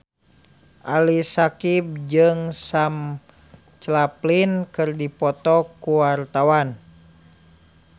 Ali Syakieb jeung Sam Claflin keur dipoto ku wartawan